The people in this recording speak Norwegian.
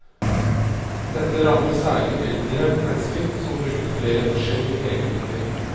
Dette rammer særlig eldre mennesker som bruker flere forskjellige legemidler.